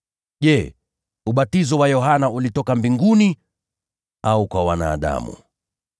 Je, ubatizo wa Yohana ulitoka mbinguni au kwa wanadamu?”